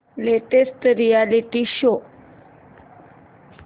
latest reality show